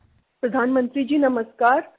"Mr